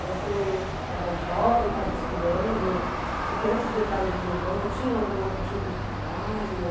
Você era jovem, estava estudando, porque antes de entrar mesmo no banco, tinha algum outro tipo de trabalho?